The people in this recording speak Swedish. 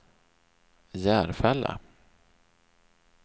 Järfälla